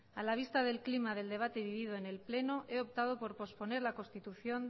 a la vista del clima del debate vivido en el pleno he optado por posponer la constitución